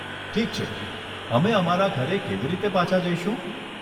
ઠીક છે, અમે અમારા ઘરે કેવી રીતે પાછા જઈશું?